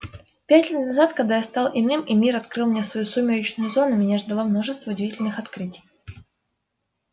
пять лет назад когда я стал иным и мир открыл мне свою сумеречную зону меня ждало множество удивительных открытий